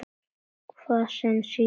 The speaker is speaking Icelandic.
Hvað sem síðar verður.